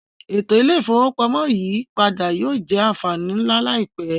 Eto ile-ifowopamọ iyipada yoo jẹ anfani nla laipẹ.